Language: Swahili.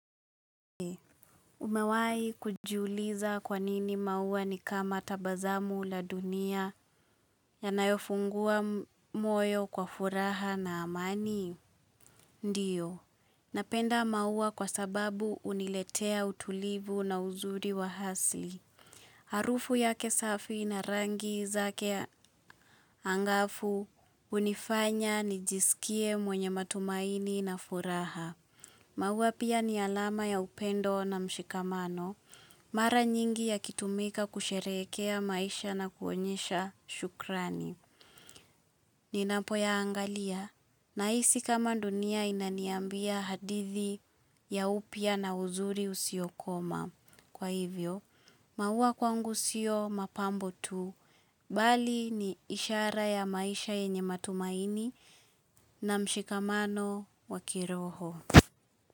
Umewahi kujiuliza kwa nini maua ni kama tabasamu la dunia yanayofungua moyo kwa furaha na amani? Ndiyo. Napenda maua kwa sababu huniletea utulivu na uzuri wa asili. Harufu yake safi na rangi zake angafu hunifanya nijisikie mwenye matumaini na furaha. Maua pia ni alama ya upendo na mshikamano, mara nyingi yakitumika kusherehekea maisha na kuonyesha shukrani. Ninapoyaangalia, nahisi kama dunia inaniambia hadithi ya upya na uzuri usiokoma. Kwa hivyo, maua kwangu siyo mapambo tu, bali ni ishara ya maisha yenye matumaini na mshikamano wa kiroho.